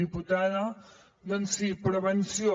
diputada doncs sí prevenció